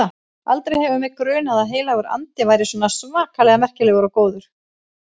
Aldrei hefur mig grunað að Heilagur Andi væri svona svakalega merkilegur og góður.